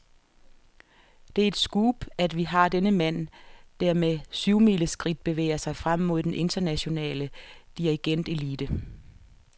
Det er et scoop, at vi har denne mand, der med syvmileskridt bevæger sig frem mod den internationale dirigentelite.